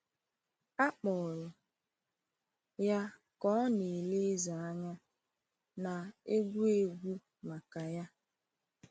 A kpọrọ ya ka ọ na-ele eze anya, na-egwu egwu maka ya.